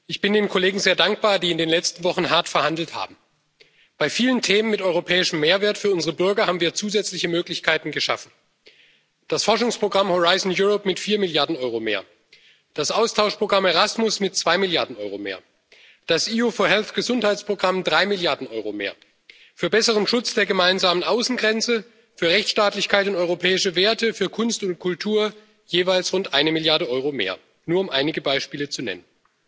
Ich bin den Kollegen sehr dankbar, die in den letzten Wochen hart verhandelt haben. Bei vielen Themen mit europäischem Mehrwert für unsere Bürger haben wir zusätzliche Möglichkeiten geschaffen Das Forschungsprogramm Horizont Europa erhält vier Milliarden Euro mehr, das Austauschprogramm Erasmus zwei Milliarden Euro mehr, das Gesundheitsprogramm EU4Health drei Milliarden Euro mehr, für besseren Schutz der gemeinsamen Außengrenze, für Rechtsstaatlichkeit und europäische Werte, für Kunst und Kultur jeweils rund eine Milliarde Euro mehr nur um einige Beispiele zu nennen.